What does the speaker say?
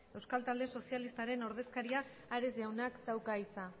euskal talde sozialistaren ordezkariak ares jaunak dauka hitza